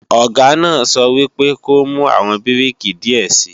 Ọ̀gá náà sọ wípé ko mú àwọn bíríkì díẹ̀ sii!